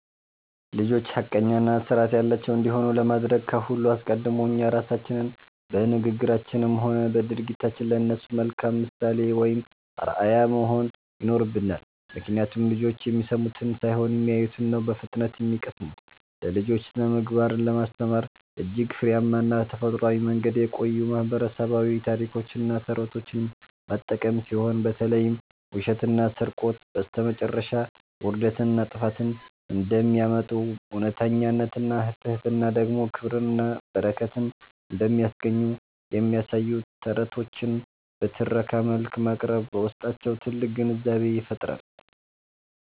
ልጆች ሐቀኛና ሥርዓት ያላቸው እንዲሆኑ ለማድረግ ከሁሉ አስቀድሞ እኛ ራሳችን በንግግራችንም ሆነ በድርጊታችን ለእነሱ መልካም ምሳሌ ወይም አርአያ መሆን ይኖርብናል፤ ምክንያቱም ልጆች የሚሰሙትን ሳይሆን የሚያዩትን ነው በፍጥነት የሚቀስሙት። ለልጆች ስነ-ምግባርን ለማስተማር እጅግ ፍሬያማና ተፈጥሯዊው መንገድ የቆዩ ማህበረሰባዊ ታሪኮችንና ተረቶችን መጠቀም ሲሆን፣ በተለይም ውሸትና ስርቆት በስተመጨረሻ ውርደትንና ጥፋትን እንደሚያመጡ፣ እውነተኝነትና ትሕትና ደግሞ ክብርንና በረከትን እንደሚያስገኙ የሚያሳዩ ተረቶችን በትረካ መልክ ማቅረብ በውስጣቸው ጥልቅ ግንዛቤን ይፈጥራል።